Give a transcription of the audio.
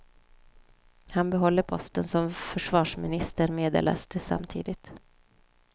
Han behåller posten som försvarsminister, meddelades det samtidigt.